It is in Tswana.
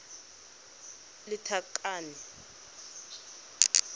lethakane